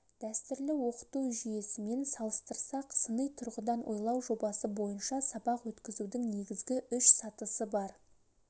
дәстүрлі оқыту жүйесімен салыстырсақ сыни тұрғыдан ойлау жобасы бойынша сабақ өткізудің негізгі үш сатысы бар